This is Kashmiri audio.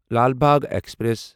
لال باغ ایکسپریس